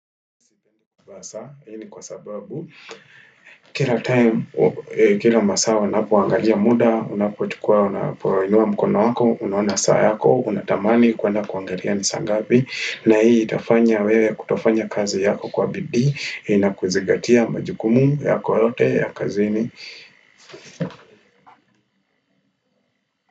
Kwa sababu, kila masaa wanapoangalia muda, unapokuwa unapoinua mkono wako, unaona saa yako, unatamani kuenda kuangalia ni saa ngapi. Na hii itafanya wewe kutofanya kazi yako kwa bidii na kuzingatia majukumu yako yote ya kazini.